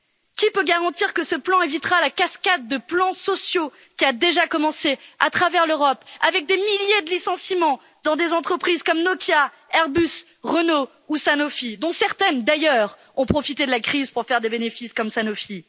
Qui peut garantir que ce plan évitera la cascade de plans sociaux qui a déjà commencé à travers l'Europe avec des milliers de licenciements dans des entreprises comme Nokia, Airbus, Renault ou Sanofi, dont certaines d'ailleurs, ont profité de la crise pour faire des bénéfices, comme Sanofi.